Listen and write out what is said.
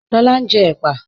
Lọlá n jẹ́ èpà